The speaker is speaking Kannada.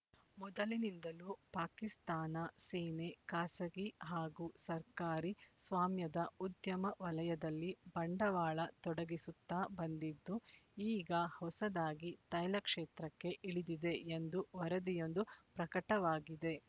ಮೊದಲಿನಿಂದಲೂ ಪಾಕಿಸ್ತಾನ ಸೇನೆ ಖಾಸಗಿ ಹಾಗೂ ಸರ್ಕಾರಿ ಸ್ವಾಮ್ಯದ ಉದ್ಯಮ ವಲಯದಲ್ಲಿ ಬಂಡವಾಳ ತೊಡಗಿಸುತ್ತಾ ಬಂದಿದ್ದು ಈಗ ಹೊಸದಾಗಿ ತೈಲ ಕ್ಷೇತ್ರಕ್ಕೆ ಇಳಿದಿದೆ ಎಂದು ವರದಿಯೊಂದು ಪ್ರಕಟವಾಗಿದೆ